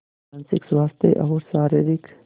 मानसिक स्वास्थ्य और शारीरिक स्